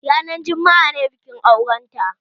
Ranar jumma'a ne bikin auren ta